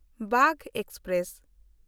Bagh express